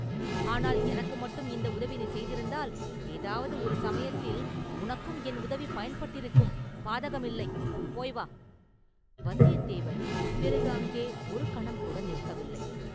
ஆனால் எனக்கு மட்டும் இந்த உதவி நீ செய்திருந்தால், ஏதாவது ஒரு சமயத்தில் உனக்கும் என் உதவி பயன்பட்டிருக்கும் பாதகமில்லை; போய் வா!” வந்தியத்தேவன் பிறகு அங்கே ஒரு கணம்கூட நிற்கவில்லை.